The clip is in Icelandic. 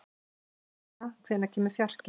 Bríanna, hvenær kemur fjarkinn?